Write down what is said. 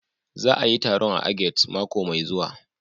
Za a a yi taron a Agades mako mai zuwa